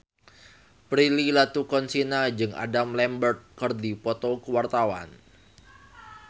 Prilly Latuconsina jeung Adam Lambert keur dipoto ku wartawan